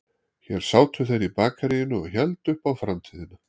Hér sátu þeir í bakaríinu og héldu upp á framtíðina